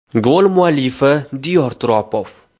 Gol muallifi Diyor Turopov.